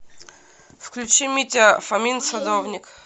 включи митя фомин садовник